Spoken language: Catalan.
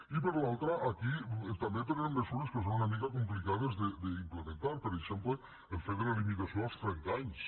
i per l’altra aquí també prenem mesures que són una mica complicades d’implementar per exemple el fet de la limitació als trenta anys